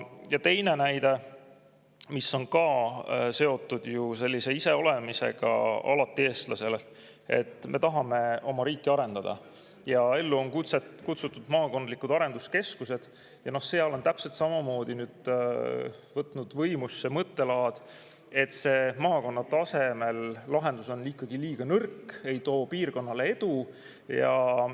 Ja teine näide, mis on ka seotud sellise iseolemisega, mis on eestlasele alati, et me tahame oma riiki arendada, ja ellu on kutsutud maakondlikud arenduskeskused – seal on täpselt samamoodi nüüd võtnud võimust see mõttelaad, et see maakonna tasemel lahendus on ikkagi liiga nõrk, see ei too piirkonnale edu.